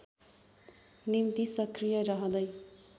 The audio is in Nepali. निम्ति सक्रिय रहँदै